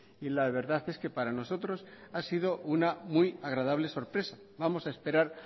y la verdad es que para nosotros ha sido una muy agradable sorpresa vamos a esperar